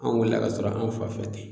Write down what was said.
An wulila k'a sɔrɔ an fa fɛ tɛ